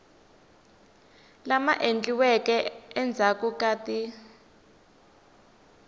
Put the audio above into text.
lama endliweke endzhaku ka ti